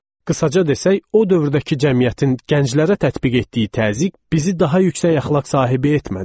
Qısaca desək, o dövrdəki cəmiyyətin gənclərə tətbiq etdiyi təzyiq bizi daha yüksək əxlaq sahibi etmədi.